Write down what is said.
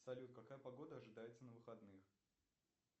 салют какая погода ожидается на выходных